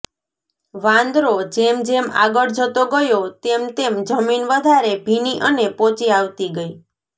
વાંદરો જેમ જેમ આગળ જતો ગયો તેમ તેમ જમીન વધારે ભીની અને પોચી આવતી ગઈ